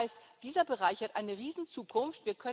Das heißt, dieser Bereich hat eine Riesenzukunft.